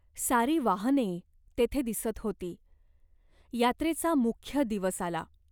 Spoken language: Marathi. सारी वाहने तेथे दिसत होती. यात्रेचा मुख्य दिवस आला.